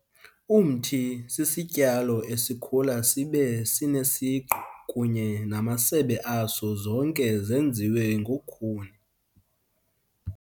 Umthi sisityalo esikhula sibe sinesiqu kunye namasebe aso zonke zenziwe ngokhuni.